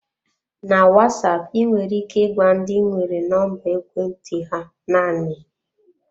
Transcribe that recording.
Na Wasap, ị nwere ike ịgwa ndị ị nwere nọmba ekwentị ha naanị.